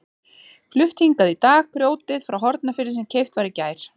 Flutt hingað í dag grjótið frá Hornafirði sem keypt var í gær.